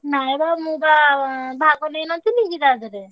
ନାଇଁ ବା ମୁଁ ବା ଭାଗ ନେଇନଥିଲି କି ତାଧେରେ।